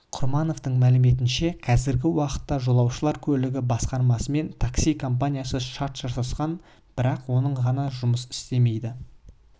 құрмановтың мәліметінше қазіргі уақытта жолаушылар көлігі басқармасымен такси компаниясы шарт жасасқан бірақ оның ғана жұмыс істемейді